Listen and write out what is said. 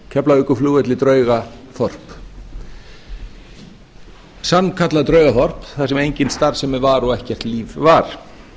keflavíkurflugvelli draugaþorp sannkallað draugaþorp þar sem engin starfsemi var og ekkert líf var